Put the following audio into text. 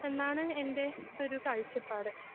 എന്നാണ് എൻ്റെ ഒരു കാഴ്ചപ്പാട്.